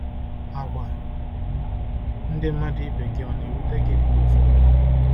Àgwà ndị mmadụ ibe gị ọ̀ na-ewute gị mgbe ụfọdụ?